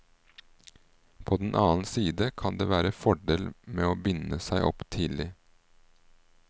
På den annen side kan det være fordel med å binde seg opp tidlig.